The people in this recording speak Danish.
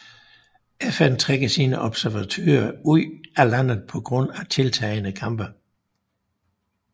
FN trækker sine observatører ud af landet på grund af tiltagende kampe